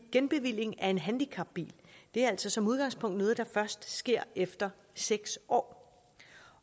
genbevilling af en handicapbil er altså som udgangspunkt noget først sker efter seks år